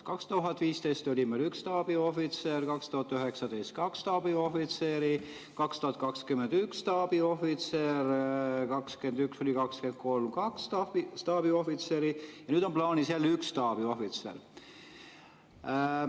2015 oli meil üks staabiohvitser, 2019 oli kaks staabiohvitseri, 2020 üks staabiohvitser, 2021–2023 kaks staabiohvitseri ja nüüd on plaanis jälle üks staabiohvitser.